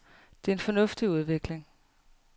Det er en fornuftig udvikling.